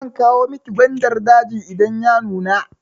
Zan kawo miki gwandar daji idan ya nuna.